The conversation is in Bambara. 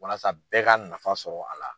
Walasa bɛɛ ka nafa sɔrɔ a la.